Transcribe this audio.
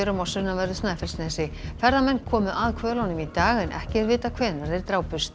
á sunnanverðu Snæfellsnesi ferðamenn komu að hvölunum í dag en ekki er vitað hvenær þeir drápust